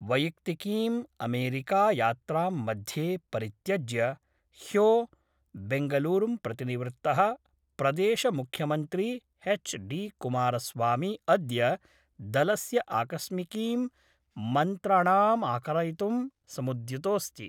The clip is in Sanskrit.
वैयक्तिकीम् अमेरिकायात्रां मध्ये परित्यज्य ह्यो बेंगलुरूं प्रतिनिवृत्त: प्रदेश मुख्यमन्त्री एच् डी कुमारस्वामी अद्य दलस्य आकस्मिकीं मन्त्रणामाकारयितुं समुद्यतोस्ति।